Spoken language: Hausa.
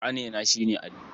Ƙanena shi ne Ali.